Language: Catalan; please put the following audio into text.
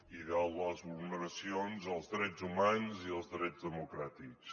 i de les vulneracions als drets humans i als drets democràtics